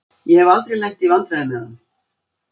Ég hef aldrei lent í vandræðum með hann.